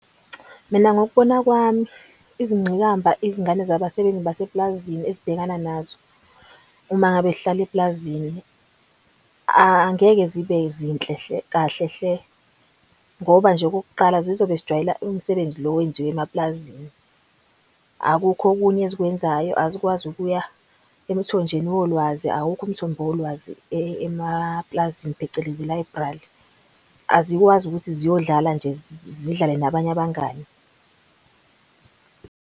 Mina ngokubona kwami izingqikamba izingane zabasebenzi baseplazini ezibhekana nazo uma ngabe zihlala eplazini. Angeke zibe zinhle kahle hle ngoba nje okokuqala zizobe zijwayela umsebenzi lo owenziwa emaplazini. Akukho okunye ezikwenzayo azikwazi ukuya emthonjeni wolwazi. Awukho umthombo wolwazi emaplazini phecelezi i-library azikwazi ukuthi ziyodlala nje zidlale nabanye abangani.